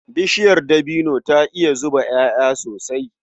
Bishiyar dabino za ta iya zuba ƴaƴa sosai.